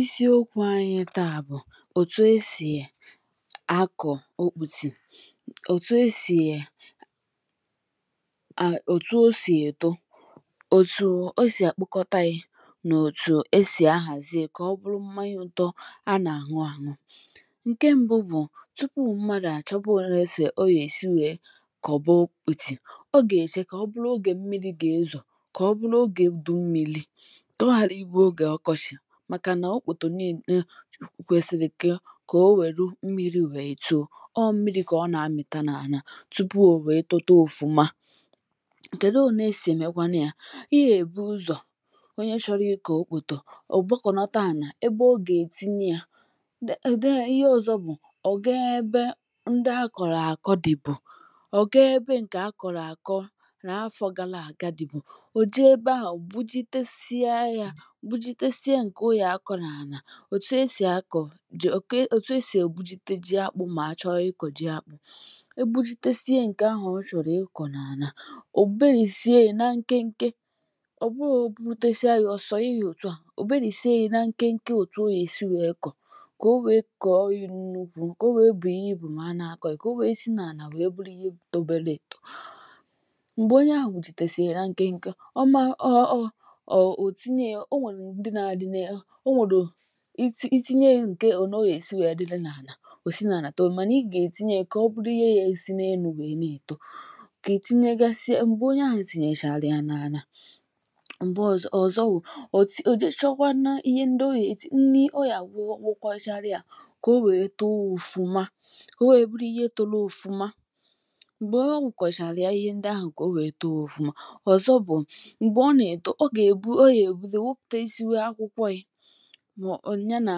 Isiokwu anyi taà bụ̀ òtù esì um akọ̀ okpùtì, òtù esì um òtù o sì eto, òtù esì àkpokọtȧ ya, nà òtù esì ahàzie kà ọ bụrụ mmȧnyȧ ụ̇tọ̇ a nà-àṅụ àṅụ. Nke m̀bụ bụ̀ tupu̇ mmadụ̀ àchọba òle ọ ga èsi wèe kọ̀ba okpùtì, ọ gà-èche kà ọ bụrụ ogè mmiri̇ gà-ezò, kà ọ bụrụ ogè udu mmiri̇, ka oghara ịbụ oge ọkọchị, màkà nà okpòtò n'ine kwèsìrì ke kà o wèru mmiri wèè tòò, ọ mmiri kà ọ nà-amìta nà àna tupu o wèe tóté òfuma. Kedụ ole esì èmèkwanụya: Ịyà èbu ụzọ̀ onye chọrọ ịkọ okpòtò, òbòkọ̀nọta ànà ebe ogè è tinye ya, ede ihe ọzọ bụ̀ ọ̀ gaa ebe ndị akọ̀rọ̀ àkọ dì bù, ọ̀ gaa ebe ǹkè akọ̀rọ̀ àkọ nà afọ gala àga dì bù, o jee ebe ahụ gbujitesịa ya, gbujitesia ǹkè o yà akọ̀ n’ànà, òtu esì akọ̀, jì, òtu esì ègbujite ji akpụ mà achọ ịkọ̀ ji akpụ̇. Egbujitesia ǹkè ahụ̀ ọ chọ̀rọ̀ ịkọ̀ n’ànà, òberìsie ya na nke nke. Ọ bụrọ egbujitesia ya, ọsọnye yȧ òtu à, òberì sie ya na nke nke òtu ọ ga-esi wèe kọ̀, kà o wèe kọ̀ọ ya n’ukwù, ka o wèe bùò ịbụ̀ mà a n'akọ̀ ya, kà o wèe si n’ànà wèe bụrụ ihe tobele etò. Mgbè onye ahụ̀ gbujitesìrì ya na ǹke nke, ọ ma um òtinye ya, onwèrè ndị na dị um, onwèrè itinye ya ole ọ ga-èsi nwèe dịle nà ànà, ò si nà ànà tòò, manà i gà ètinye ya, kà ọ bụrụ ihe ya èsi n’enu̇ nwèe na-èto. Kà ètinye gasị ya, mgbè onye ahụ̀ tìnyèchàrà ya n’ana ala, m̀gbè ọzọ ọzọ wụ̀ ọ̀ ti, ò je chọkwanȧ ihe ndị o yà èti nri, ọ yà gwokocharụya kà o nwèe tòò ọfụma, kà o nwèe bụrụ ihe tórú ọfụma. Mgbè ogwokochàrù ya, ihe ndị ahụ̀ kà o nwèe tòò ọfụma. Ọzọ bụ̀ m̀gbè ọ nà-èto, ọ gà-èbu, ọ yà èbido wepụtawasi akwụkwọ ya, ọ ya nà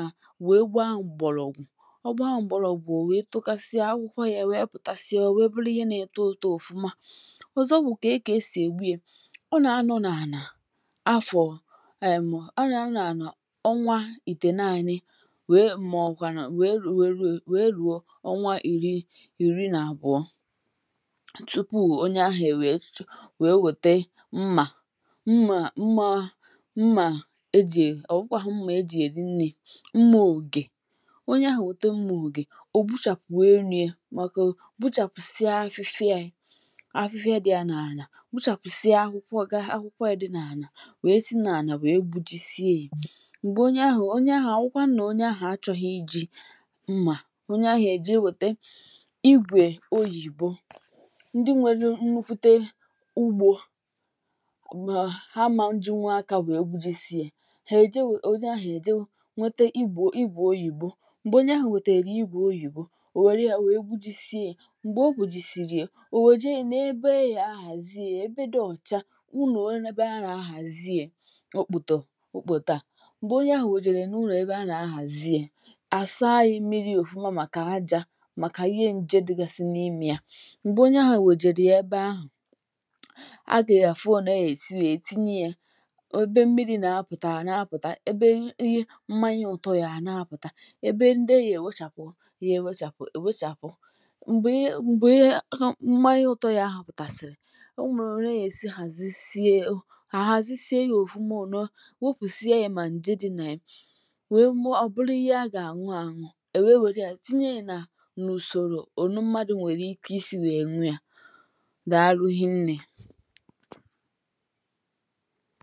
wèe gbaa m̀gbọ̀lọ̀ ògwù. Ọ gbaa m̀gbọ̀lọ̀ ògwù o wèe tokasịa, akwụkwọ yȧ wèe pụ̀tàsịa wèe bụlụ ihe na-eto eto ọ̀fụma. Ọzọ bụ̀ kéé kà esì ègbu ya: Ọ nà-anọ n’ànà afọ̀, um ọ nà-anọ n’áná ọnwa ìtènaanị, wèe màọkwa nà wèe rụọ, rụọ eru ọnwa ìri ìri nà àbụọ, tupu onye ahụ̀ enwèè, tùtù onye ahụ enwèe wète mmà, mma mma mma eji e, ọ̀ bụkwàghu mmà e jì èri nri, mmà ògè. Onye ahụ̀ nwète mmà ògè, ò gbuchàpụ̀ énú ya, màkà ogbuchàpụ̀ sịa afịfịa ya, afịfịa dị́ya n'ànà gbuchàpụ̀sịa, akwụkwọ gȧ akwụkwọ ya di n’ànà, wee si n’ànà wee gbuji sie ya. Mgbè onye ahụ̀, onye ahụ̀, ọbụkwanụnà onye ahụ̀ achọghị̇ iji̇ mmà, onye ahụ̀ èje wète igwè oyìbo. Ndị nwèrè nnukwute ugbo, ma ha ama jinwú aka wee gbujisie ya, hé eje nwete, onye ahụ eje nwete igbò igwe oyìbo. Mgbè onye ahụ̀ wètèrè igwè oyìbo, ò wère ya wèe gwujisie ya. Mgbè o gbùjisiri e, o wèje ya n’ebe aga-ahàzie e, ebe dị ọ̀cha, ụnọ̀ ebe a nà-ahàzie okpòtò okpòtò a. Mgbè onye ahụ̀ wòjèrè n’ụlọ̀ ebe a nà-ahàzie, àsaa ya mmiri òfuma màkà aja, màkà ihe nje dịgasị n’imė ya. Mgbè onye ahụ̀ wòjèrè ya ebe ahụ̀, agà afụ óne a ga-esi wee tinye ya, ebe mmiri na-apụta a na-apụta, ebe ihe mmanya ụtọ ya hà na-apụ̀ta, ebe ndị a gà-èwechàpụ̀ ya, èwechàpụ̀ èwechàpụ. Mgbè ihe mgbe ihe mmanya ụtọ ya ahụ̀ pùtàsị̀rị̀, o nwèrè ka aga èsi hàzị sie a ha, hàzị sie yȧ ọfụma òné ọ, wopùsịa yȧ mà ǹje n'ile dị ya, nwẹ méé ọ̀bụrụ ihe a gà-àṅụ àṅụ, e nwèe wère ya tinye ya, n’ùsòrò ònù mmadù nwèrè ike isi wèe ṅụọ ya. Daalụ hie nne.